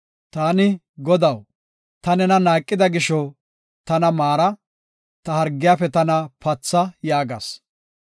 Taani, “Godaw, ta nena naaqida gisho, tana maara; ta hargiyafe tana patha” yaagas.